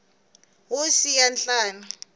wo siya nhlana